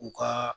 U ka